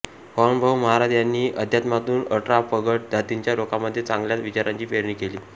वामनभाऊ महाराज यांनी अध्यात्मातून अठरा पगड जातींच्या लोकांमध्ये चांगल्या विचारांची पेरणी केली